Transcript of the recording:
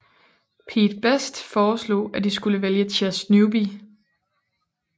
Pete Best foreslog at de skulle vælge Chas Newby